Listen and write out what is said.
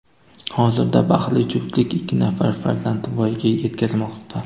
Hozirda baxtli juftlik ikki nafar farzandni voyaga yetkazmoqda.